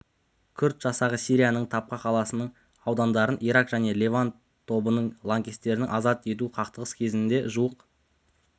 күрд жасағы сирияның табка қаласының аудандарын ирак және левант тобының лаңкестерінен азат етті қақтығыс кезінде жуық